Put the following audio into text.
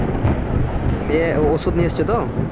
দিয়ে ওষুধ নিয়ে এসেছে তো?